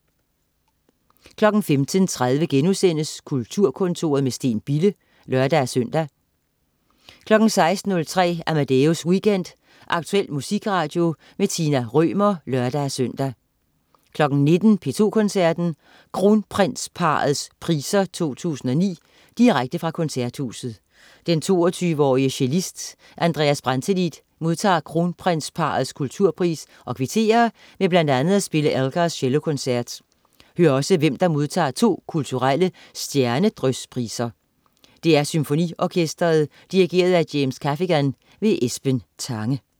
15.30 Kulturkontoret med Steen Bille* (lør-søn) 16.03 Amadeus Weekend. Aktuel musikradio. Tina Rømer (lør-søn) 19.00 P2 Koncerten. Kronprinsparrets priser 2009. Direkte fra Koncerthuset. Den 22-årige cellist Andreas Brantelid modtager Kronprinsparrets kulturpris og kvitterer med bl.a. at spille Elgars Cellokoncert. Hør også, hvem der modtager to kulturelle Stjernedryspriser. DR SymfoniOrkestret. Dirigent: James Gaffigan. Esben Tange